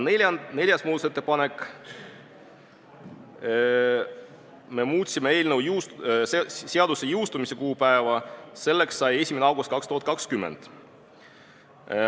Ja neljas muudatusettepanek: me muutsime seaduse jõustumise kuupäeva, selleks sai 1. august 2020.